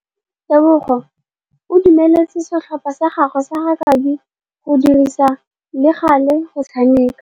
Tebogô o dumeletse setlhopha sa gagwe sa rakabi go dirisa le galê go tshameka.